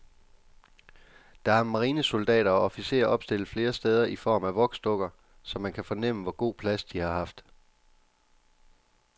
Der er marinesoldater og officerer opstillet flere steder i form af voksdukker, så man kan fornemme, hvor god plads de har haft.